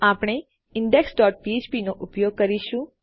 આપણે index dot ફ્ફ્પ નો ઉપયોગ કરીશું